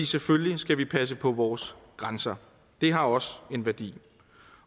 selvfølgelig skal passe på vores grænser det har også en værdi